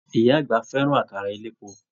Ìyá àgbà fẹràn àkàrà elépo.